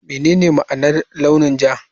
Menene ma'anar launin ja?